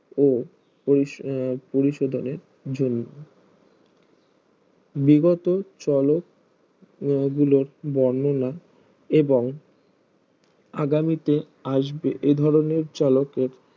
ও আহ পরিশোধনের জন্য বিগত চলত গুলোর বর্ণনা এবং আগামীতে আসবে এধরনের চলকের